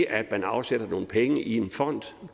at man afsætter nogle penge i en fond